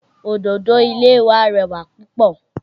Òdòdó ilé wa rẹwà púpọ̀